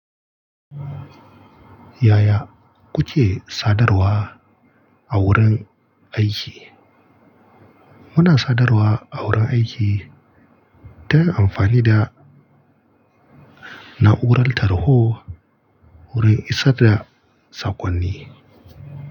Yaya kuke sadarwa a wurin aiki? Muna sadarwa a wurin aiki kana amfani da na'urar tarho wurin isar da saƙonni.